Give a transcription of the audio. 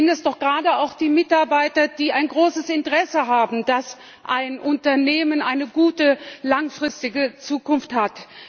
Es sind doch gerade auch die Mitarbeiter, die ein großes Interesse haben, dass ein Unternehmen eine gute, langfristige Zukunft hat!